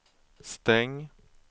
stäng